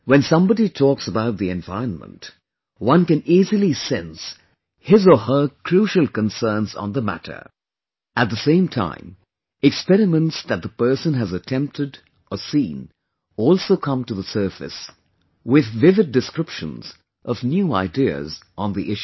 When somebody talks about the environment, one can easily sense his or her crucial concerns on the matter; at the same time, experiments that the person has attempted or seen also come to the surface, with vivid descriptions of new ideas on the issue